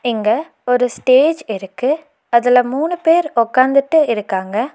இங்க ஒரு ஸ்டேஜ் இருக்கு அதுல மூணு பேர் உக்காந்துட்டு இருக்காங்க.